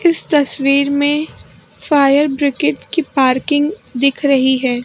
इस तस्वीर में फायर ब्रिगेड की पार्किंग दिख रही है।